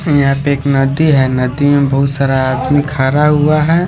यहां पे एक नदी है नदी में बहुत सारा आदमी खारा हुआ है।